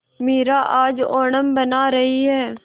मीरा आज ओणम मना रही है